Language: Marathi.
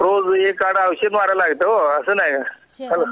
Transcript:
रोज एक आड़ औषध मारावं लागत हो असं नाही काय हॅलो